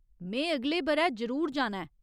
में अगले ब'रै जरूर जाना ऐ।